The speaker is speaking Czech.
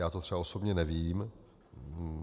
Já to třeba osobně nevím.